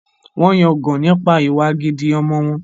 Wọ́n ń yangàn nípa ìwà gidi ọmọ wọn